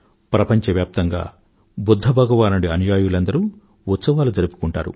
ప్రపంచవ్యాప్తంగా బుధ్ధ భగవానుడి అనుయాయులందరూ ఉత్సవాలు జరుపుకుంటారు